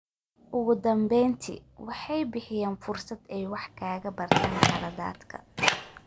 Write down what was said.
Ugu dambeyntii, waxay bixiyaan fursad ay wax kaga bartaan khaladaadka.